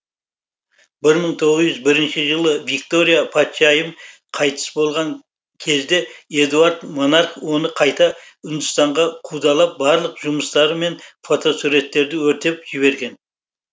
бір мың тоғыз жүз бірінші жылы виктория патшайым қайтыс болған кезде эдуард монарх оны қайта үндістанға қудалап барлық жұмыстары мен фотосуреттерді өртеп жібереді